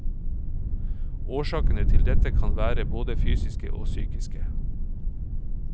Årsakene til dette kan være både fysiske og psykiske.